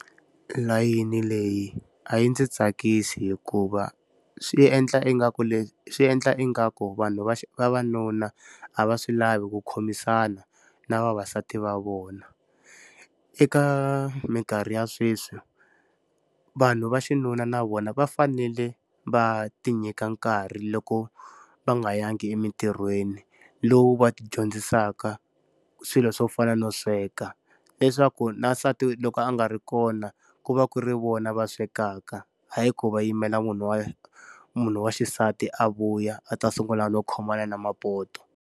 Layeni leyi a yi ndzi tsakisi hikuva swi endla ingaku swi endla ingaku vanhu va vavanuna a va swi lavi ku khomisana na vavasati va vona. Eka minkarhi ya sweswi, vanhu va xinuna na vona va fanele va ti nyika nkarhi loko va nga yangi emintirhweni lowu va ti dyondzisaka swilo swo fana no sweka, leswaku na nsati loko a nga ri kona ku va ku ri vona va swekaka. Hayi ku va yimela munhu wa munhu wa xisati a vuya a ta sungula no khomana na mapoto.